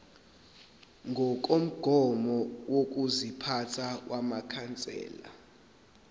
ngokomgomo wokuziphatha wamakhansela